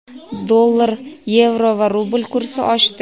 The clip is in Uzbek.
Dollar, yevro va rubl kursi oshdi.